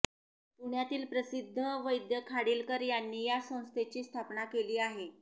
पुण्यातील प्रसिद्ध वैद्य खाडीलकर यांनी या संस्थेची स्थापना केली आहे